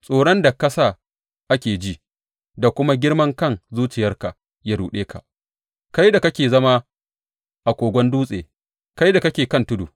Tsoron da ka sa ake ji da kuma girman kan zuciyarka ya ruɗe ka, kai da kake zama a kogon dutse, kai da kake kan tudu.